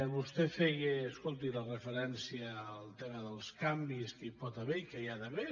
vostè feia escolti la referència al tema dels canvis que hi pot haver i que hi ha d’haver